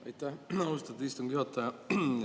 Aitäh, austatud istungi juhataja!